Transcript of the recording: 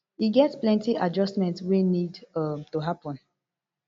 e get plenty adjustment wey need um to happen